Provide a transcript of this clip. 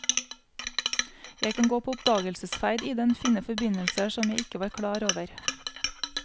Jeg kan gå på oppdagelsesferd i den, finne forbindelser som jeg ikke var klar over.